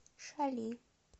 шали